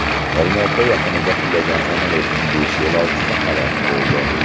Olmaota yaqinida qulagan samolyotning besh yo‘lovchisi halok bo‘ldi.